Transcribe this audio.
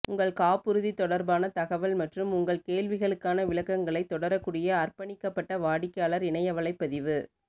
உங்கள் காப்புறுதி தொடர்பான தகவல் மற்றும் உங்கள் கேள்விகளுக்கான விளக்கங்களை தொடரக்கூடிய அர்ப்பணிக்கப்பட்ட வாடிக்கையாளர் இணைய வலைப்பதிவு